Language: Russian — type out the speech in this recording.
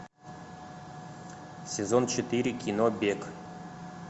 сезон четыре кино бег